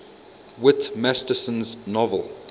whit masterson's novel